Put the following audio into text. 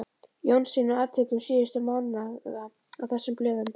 Jónssyni, og atvikum síðustu mánaða á þessum blöðum.